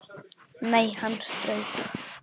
Nei, hann strauk